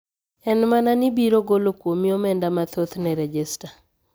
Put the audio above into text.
En mana ni biro golo kuomi omenda mathoth ne rejesta